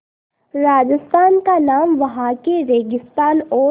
राजस्थान का नाम वहाँ के रेगिस्तान और